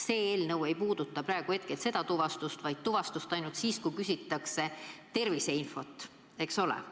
See eelnõu ei puuduta sellist tuvastust, vaid tuvastust ainult siis, kui küsitakse terviseinfot, eks ole.